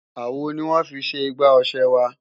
Àwo ni wọ́n fi ṣe igbá ọ̀ṣẹ wa